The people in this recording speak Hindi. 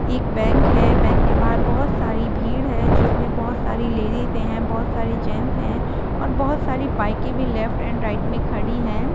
एक बैंक हैं बैंक के बहार बोहत सारी भीड़ हैजिसमें बहुत सारी लेडिज है बोहत सारी जेन्ट्स है और बोहत सारी बाइके भी लेफ्ट एंड राईट मे खडी है।